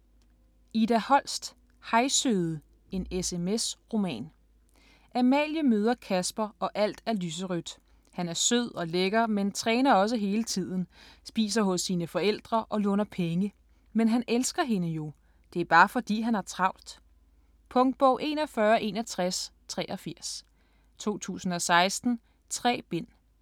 Holst, Ida: Hej søde: en SMS-roman Amalie møder Kasper og alt er lyserødt. Han er sød og lækker men træner også hele tiden, spiser hos sine forældre og låner penge. Men han elsker hende jo. Det er bare fordi, han har travlt. Punktbog 416183 2016. 3 bind.